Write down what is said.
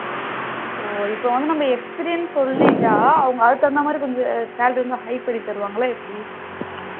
oh இப்போ வந்து நம்ம experience சொல்லிட்டா அவங்க அதுக்கு தகுந்த மாதிரி கொஞ்சம் salary வந்து high பண்ணி தருவங்களா எப்படி